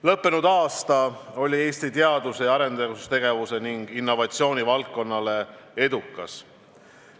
Lõppenud aasta oli Eesti teadus- ja arendustegevuse ning innovatsiooni valdkonnale edukas.